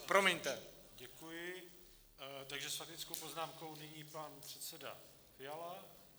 Děkuji, takže s faktickou poznámkou nyní pan předseda Fiala.